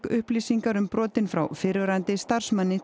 upplýsingar um brotin frá frá fyrrverandi starfsmanni